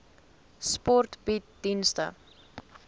sport bied dienste